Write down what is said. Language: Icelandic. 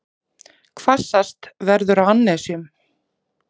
Hvassast verður á annesjum